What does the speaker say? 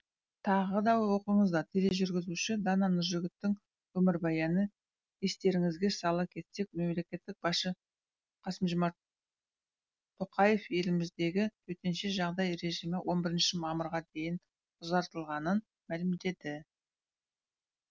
тағы да оқыңыздар тележүргізуші дана нұржігіттің өмірбаяны естеріңізге сала кетсек мемлекет басшы қасым жомарт тоқаев еліміздегі төтенше жағдай режимі он бірінші мамырға дейін ұзартылғанын мәлімдеді